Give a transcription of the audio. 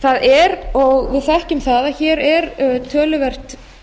það er og við þekkjum það að hér er töluvert